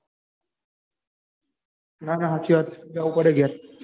ના ના સાચી વાત હે જાવું પડે ઘેર.